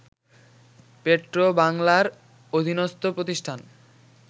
পেট্রোবাংলার অধীনস্ত প্রতিষ্ঠান